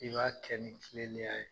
I b'a kɛ ni kilenneya ye.